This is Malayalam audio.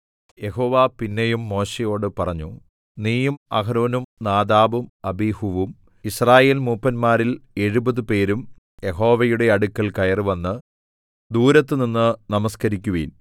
യഹോവ പിന്നെയും മോശെയോട് പറഞ്ഞു നീയും അഹരോനും നാദാബും അബീഹൂവും യിസ്രായേൽമൂപ്പന്മാരിൽ എഴുപത് പേരും യഹോവയുടെ അടുക്കൽ കയറിവന്ന് ദൂരത്തുനിന്ന് നമസ്കരിക്കുവിൻ